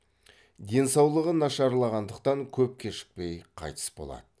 денсаулығы нашарлағандықтан көп кешікпей қайтыс болады